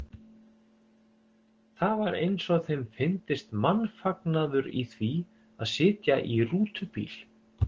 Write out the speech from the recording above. Það var eins og þeim fyndist mannfagnaður í því að sitja í rútubíl.